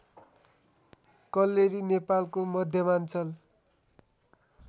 कल्लेरी नेपालको मध्यमाञ्चल